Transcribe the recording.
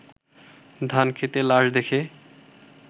ধানক্ষেতে লাশ দেখে